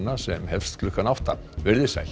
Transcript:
sem hefst klukkan átta veriði sæl